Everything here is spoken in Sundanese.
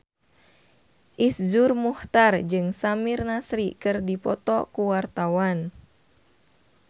Iszur Muchtar jeung Samir Nasri keur dipoto ku wartawan